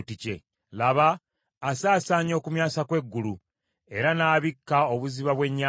Laba, asaasaanya okumyansa kw’eggulu, era n’abikka obuziba bw’ennyanja.